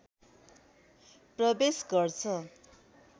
प्रवेश गर्छ